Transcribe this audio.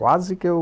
Quase que eu...